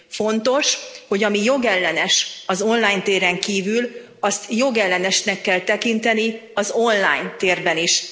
Fontos, hogy ami jogellenes az online téren kívül, azt jogellenesnek kell tekinteni az online térben is.